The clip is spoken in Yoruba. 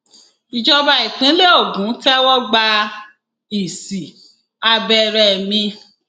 ìjọba ìpínlẹ ògún tẹwọgbá ìsì abẹrẹ mi